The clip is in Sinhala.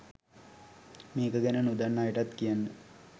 මේක ගැන නොදන්න අයටත් කියන්න.